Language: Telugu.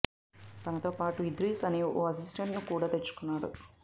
తనతో పాటు ఇద్రీస్ అనే ఓ అసిస్టెంట్ ను కూడా తెచ్చుకున్నాడు